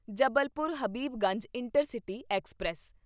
Jabalpur Habibganj intercity express